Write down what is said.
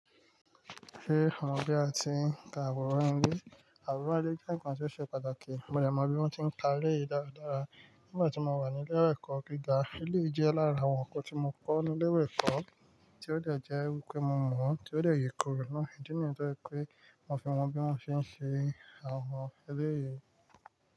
Ríran bí a ti ń ka àwòrán ilé. Àwòrán ilé jẹ́ ǹkan tó ṣe pàtàkì, mo lè mọ bí wọ́n ti ń ka ilé yìí dáradára. Nígbà tí mo wà ní ilé ẹ̀kọ́ gíga, ilé ìjẹ́ lára àwọn nǹkan tí mo kọ́ ní ilé ìwé ẹ̀kọ́ tí ó le jẹ́ wípé mo mọ̀ ó, tí ó le yè kúrò náà, ìdí nìyẹn tó jẹ́ pé mo fi mọ bí wọ́n ṣe ń ṣe àwọn ilé yìí.